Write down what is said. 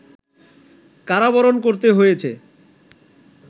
কারাবরণ করতে হয়েছে